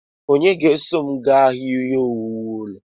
Onye ga-eso m gaa ahịa ihe owuwu ulo?